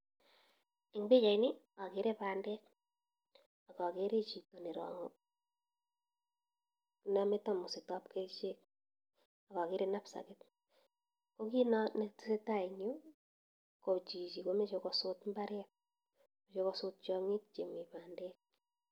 Ing pichait nii akeree pandek akakeree chito nee namee tamusit ab kerchek akakeree knapsakit kokit nee tesetaii eng yuu koo chichii komeche kosut imbaret koo mechee kosut tiangiik chemii pandek